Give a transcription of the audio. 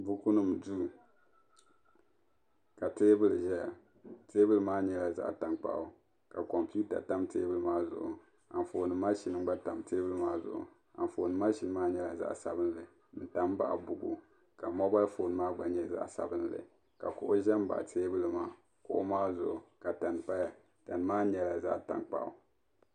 buku nim duu ka teebuli ʒɛya teebuli maa nyɛla zaɣ tankpaɣu ka kompiuta tam teebuli maa zuɣu ka Anfooni mashini gba tam teebuli maa zuɣu Anfooni mashini maa nyɛla zaɣ sabinli n tam baɣi buku moobal foon maa gba nyɛ zaɣ sabinli ka kuɣu ʒɛ n baɣi teebuli maa kuɣu maa zuɣu ka tani paya tani maa nyɛla zaɣ tankpaɣu